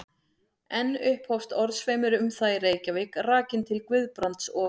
Enn upphófst orðasveimur um það í Reykjavík, rakinn til Guðbrands og